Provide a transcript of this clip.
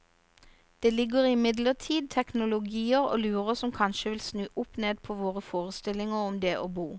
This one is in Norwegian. Det ligger imidlertid teknologier og lurer som kanskje vil snu opp ned på våre forestillinger om det å bo.